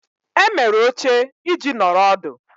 Emere oche iji nọrọ ọdụ.